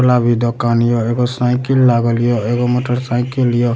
वाला भी दुकान ये एगो साइकिल लागल ये एगो मोटर साइकिल ये --